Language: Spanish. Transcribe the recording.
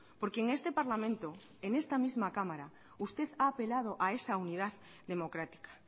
porque en este parlamento en esta misma cámara usted ha apelado a esa unidad democrática